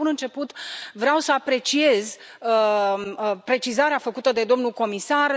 De la bun început vreau să apreciez precizarea făcută de domnul comisar.